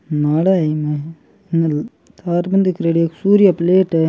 नाड़ा है ईम इन तार बंदी करेड़ी है सूर्य प्लेट है।